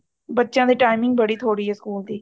ਬੱਚਿਆਂ ਦੀ timing ਬੜੀ ਥੋੜੀ ਹੈ ਸਕੂਲ ਦੀ